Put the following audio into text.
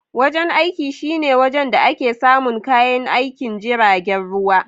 Wajen aiki shine wajen da ake samun kayan aikin jiragen ruwa.